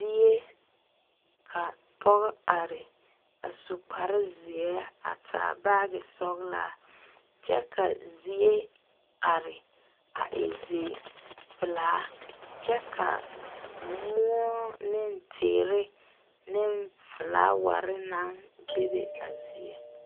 zie ka pɔge are a su kpare. zeɛ a taa baage sɔglaa kyɛ ka zie are a e pelaa kyɛ ka moɔ ne teere ne flowere naŋ be a zie.